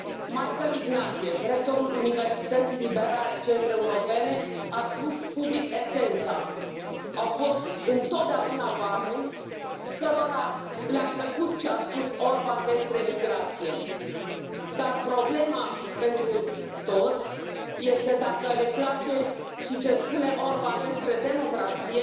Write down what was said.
Michael Ignatieff, rectorul Universității liberale Central Europene, a spus public esența au fost întotdeauna oameni cărora le a plăcut ce a spus Orban despre migrație, dar problema pentru toți este dacă le place și ce spune Orban despre democrație,